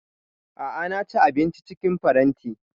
A'a na ci abinci cikin faranti